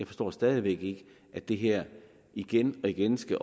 forstår stadig væk ikke at det her igen og igen skal